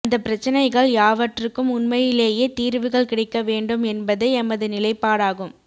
அந்த பிரச்சினைகள் யாவற்றுக்கும் உண்மையிலேயே தீர்வுகள் கிடைக்கவேண்டும் என்பதே எமது நிலைப்பாடாகும்